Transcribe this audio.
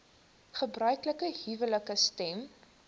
gebruiklike huwelike stem